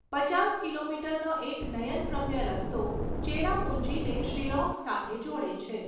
પચાસ કિલોમીટરનો એક નયનરમ્ય રસ્તો ચેરાપુંજીને શિલોંગ સાથે જોડે છે.